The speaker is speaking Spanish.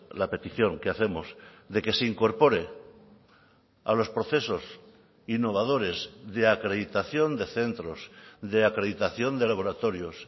la petición que hacemos de que se incorpore a los procesos innovadores de acreditación de centros de acreditación de laboratorios